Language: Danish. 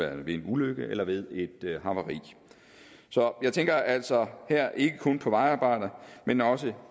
af en ulykke eller ved et havari så jeg tænker altså her ikke kun på vejarbejder men også